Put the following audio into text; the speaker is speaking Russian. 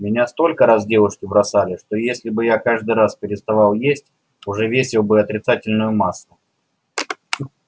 меня столько раз девушки бросали что если бы я каждый раз переставал есть уже весил бы отрицательную массу